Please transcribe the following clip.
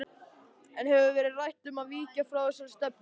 En hefur verið rætt um að víkja frá þessari stefnu?